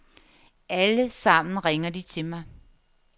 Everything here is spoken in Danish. Alle sammen ringer de til mig.